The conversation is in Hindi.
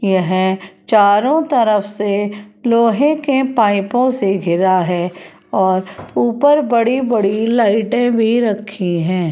यह चारों तरफ से लोहे के पाइपों से घिरा है और ऊपर बड़ी-बड़ी लाइटें भी रखी हैं।